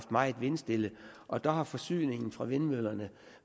meget vindstille og der har forsyningen fra vindmøllerne